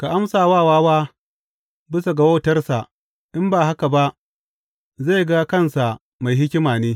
Ka amsa wa wawa bisa ga wautarsa, in ba haka ba zai ga kansa mai hikima ne.